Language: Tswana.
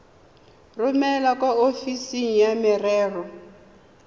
romele kwa ofising ya merero